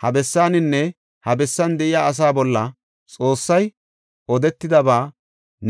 Ha bessaaninne ha bessan de7iya asaa bolla Xoossay odetidaba